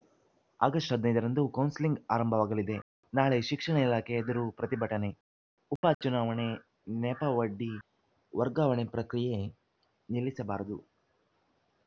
October ಹದಿನೈದರಂದು counselling ಆರಂಭವಾಗಲಿದೆ ನಾಳೆ ಶಿಕ್ಷಣ ಇಲಾಖೆ ಎದುರು ಪ್ರತಿಭಟನೆ ಉಪ ಚುನಾವಣೆ ನೆಪ ಒಡ್ಡಿ ವರ್ಗಾವಣೆ ಪ್ರಕ್ರಿಯೆ ನಿಲ್ಲಿಸಬಾರದು